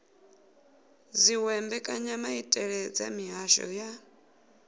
dziwe mbekanyamaitele dza mihasho ya